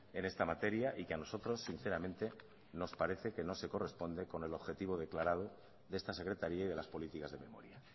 en esta materia y que a nosotros sinceramente nos parece que no se corresponde con el objetivo declarado de esta secretaría y de las políticas de memoria